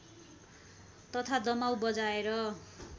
तथा दमाउ बजाएर